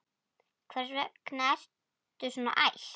Hvers vegna ertu svona æst?